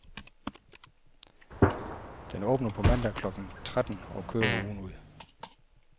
Den åbner på mandag klokken tretten og kører ugen ud.